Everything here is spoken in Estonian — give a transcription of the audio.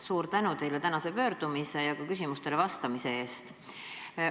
Suur tänu teile tänase pöördumise ja ka küsimustele vastamise eest!